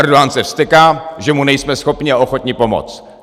Erdogan se vzteká, že mu nejsme schopni a ochotni pomoct.